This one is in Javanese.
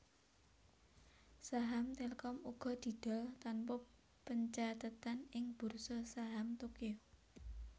Saham Telkom uga didol tanpa pencathetan ing Bursa Saham Tokyo